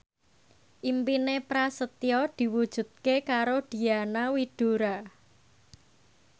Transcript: impine Prasetyo diwujudke karo Diana Widoera